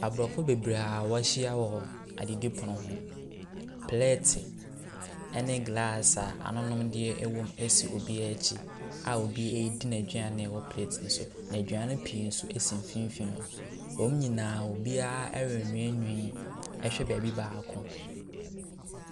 Abrɔfo bebree a wɔahyia wɔ adidi pono ho. Plɛɛt ne glass a anononneɛ wom si obiara akyi a obira redi n'aduane a ɛwɔ plɛɛt no so na aduane pii nso si mfimfin, wɔn nyinaa reweewee ɛhwɛ baabi baako.